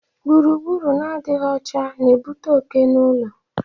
Gburugburu na-adịghị ọcha na-ebute oke n'ulo